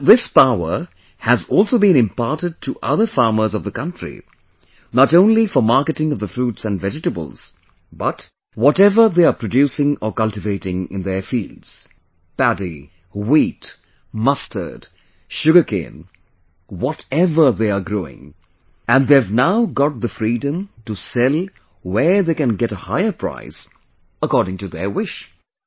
Now this power has also been imparted to other farmers of the country not only for marketing of the fruits and vegetables but whatever they are producing or cultivating in their fields, paddy, wheat, mustard, sugarcane, whatever they are growing they have now got the freedom to sell where they can get a higher price according to their wish